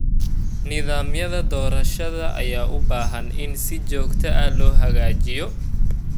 Nidaamyada doorashada ayaa u baahan in si joogto ah loo hagaajiyo.